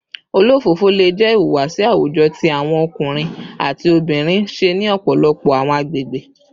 Olofofo le jẹ ihuwasi awujọ ti awọn ọkunrin ati obinrin ṣe ni ọpọlọpọ awọn agbegbe